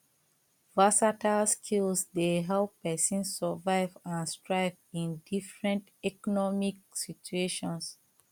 versatile skills dey help pesin survive and thrive in different economic situations